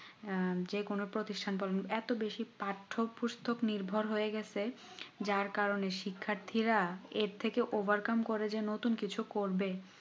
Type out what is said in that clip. আহ যে কোনো প্রতিষ্ঠান বলেন এতো বেশি পার্থ পুস্তক নির্ভর হয়ে গাছে যার কারণে শিক্ষার্থীরা এর থেকে overcome করে যে নতুন কিছু করবে